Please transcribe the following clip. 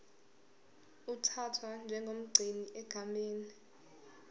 uthathwa njengomgcini egameni